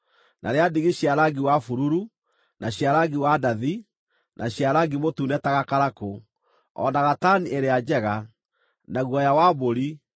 na rĩa ndigi cia rangi wa bururu, na cia rangi wa ndathi, na cia rangi mũtune ta gakarakũ; o na gatani ĩrĩa njega; na guoya wa mbũri;